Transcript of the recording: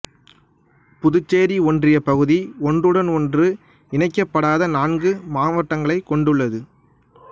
புதுச்சேரி ஒன்றியப் பகுதி ஒன்றுடன் ஒன்று இணைக்கப்படாத நான்கு மாவட்டங்களைக் கொண்டுள்ளது